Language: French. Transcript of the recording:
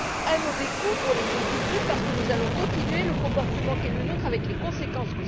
Un mauvais coup pour les pays du Sud parce que nous allons poursuivre le comportement qui est le nôtre avec ses conséquences.